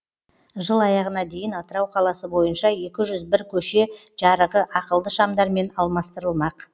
жыл аяғына дейін атырау қаласы бойынша екі жүз бір көше жарығы ақылды шамдармен алмастырылмақ